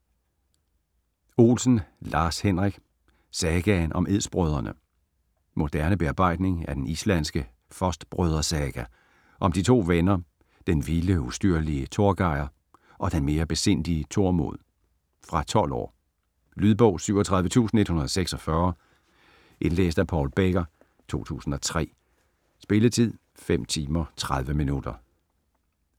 Olsen, Lars-Henrik: Sagaen om edsbrødrene Moderne bearbejdning af den islandske Fostbrødresaga om de to venner, den vilde, ustyrlige Torgejr og den mere besindige Tormod. Fra 12 år. Lydbog 37146 Indlæst af Paul Becker, 2003. Spilletid: 5 timer, 30 minutter.